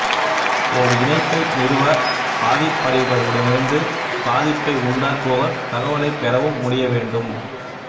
ஓர் இணைப்பை நிறுவ பாதிப்படைபவரிடமிருந்து பாதிப்பை உண்டாக்குபவர் தகவலைப் பெறவும் முடிய வேண்டும்